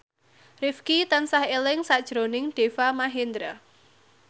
Rifqi tansah eling sakjroning Deva Mahendra